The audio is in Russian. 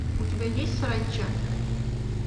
у тебя есть саранча